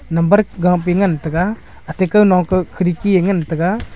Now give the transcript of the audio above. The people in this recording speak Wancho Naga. number gahpuye ngantaga ate kau nong kah ye khidki ye ngantaga.